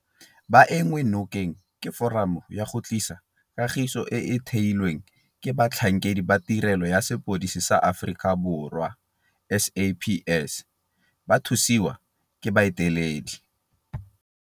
Ba enngwe nokeng ke Foramo ya go Tlisa Kagiso e e theilweng ke batlhankedi ba Tirelo ya Sepodisi sa Aforika Borwa SAPS ba thusiwa ke baeteledi..